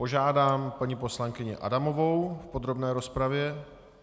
Požádám paní poslankyni Adamovou v podrobné rozpravě.